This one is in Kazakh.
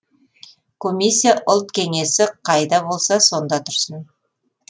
комиссия ұлт кеңесі қайда болса сонда тұрсын